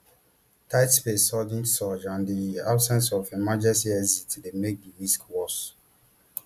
tight spaces sudden surge and di absence of emergency exits dey make di risk worse